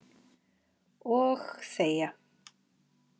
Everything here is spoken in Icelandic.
Og þegja.